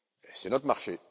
C'est notre marché.